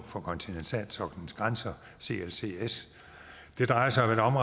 for kontinentalsoklens grænser clcs det drejer sig om